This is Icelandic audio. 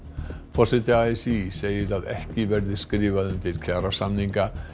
forseti a s í segir að ekki verði skrifað undir kjarasamninga